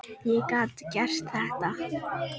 Ég gat gert þetta.